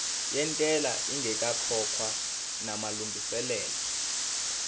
yentela ingakakhokhwa namalungiselo